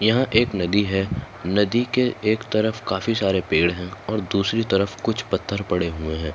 यह एक नदी है। नदी के एक तरफ काफी सारे पेड़ है और दूसरी तरफ कुछ पत्थर पड़े हुए है।